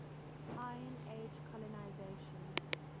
iron age colonisation